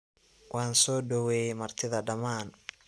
Wansodoweye martidha daaman.